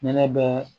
Ne ne bɛ